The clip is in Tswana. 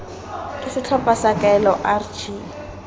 ke setlhopha sa kaelo rg